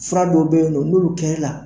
Fura dɔw bɛ yen don n'olu kɛri la.